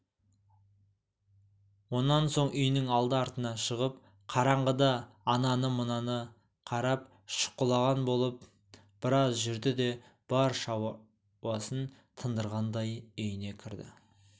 онан соң үйінің алды-артына шығып қараңғыда ананы-мынаны қарап шұқылаған болып біраз жүрді де бар шаруасын тындырғандай үйіне кірді